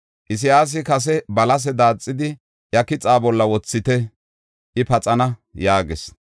Isayaasi kase, “Balase daaxidi, iya kixa bolla wothite; I paxana” yaagis.